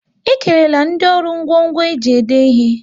E kerela ndị ọrụ ngwo ngwo e ji ede ihe